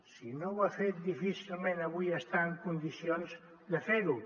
si no ho ha fet difícilment avui està en condicions de fer ho